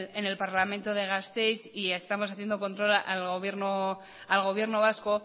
en el parlamento de gasteiz y estamos haciendo control al gobierno vasco